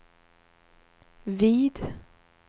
vid